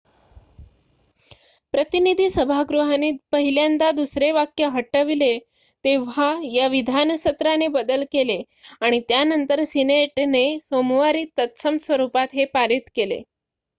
प्रतिनिधी सभागृहाने पहिल्यांदा दुसरे वाक्य हटवले तेव्हा या विधान सत्राने बदल केले आणि त्यानंतर सिनेटने सोमवारी तत्सम स्वरुपात हे पारित केले